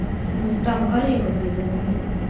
ну там горело где замкнуло